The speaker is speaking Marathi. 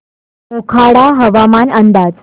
मोखाडा हवामान अंदाज